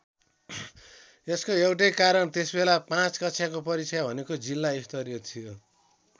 यसको एउटै कारण त्यस बेला ५ कक्षाको परीक्षा भनेको जिल्ला स्तरीय थियो।